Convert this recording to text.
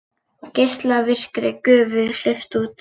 Geislavirkri gufu hleypt út